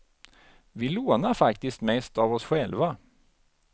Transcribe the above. Vi lånar faktiskt mest av oss själva.